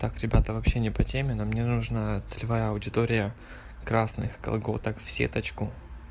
так ребята вообще не по теме но мне нужна целевая аудитория красных колготок в сеточку